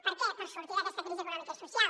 per què per sortir d’aquesta crisi econòmica i social